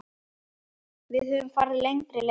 Við höfum farið lengri ferðir.